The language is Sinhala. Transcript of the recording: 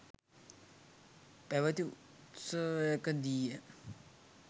පැවති උත්සවයකදීය.